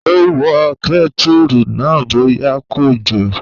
Ó wo kẹ́tùrù náà bóyá kò jò